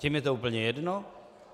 Těm je to úplně jedno?